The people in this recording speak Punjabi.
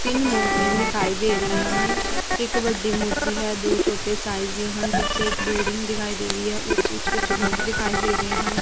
ਤਿੰਨ ਮੂਰਤੀਆਂ ਦਿਖਾਈ ਦੇ ਰਹੀਆਂ ਹਨ ਇੱਕ ਵੱਡੀ ਮੂਰਤੀ ਹੈ ਦੋ ਛੋਟੇ ਸਾਈਜ਼ ਦੀਆਂ ਹਨ ਪਿੱਛੇ ਇੱਕ ਬਿਲਡਿੰਗ ਦਿਖਾਈ ਦੇ ਰਹੀ ਐ ਉਸ ਵਿੱਚ ਕੁਝ ਲੋਕ ਦਿਖਾਈ ਦੇ ਰਹੇ ਹਨ।